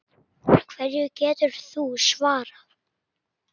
Hverju geturðu svarað?